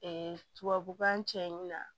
tubabukan cɛ in na